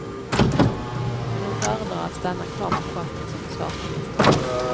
Men hon föredrar att stanna kvar på posten som försvarsminister.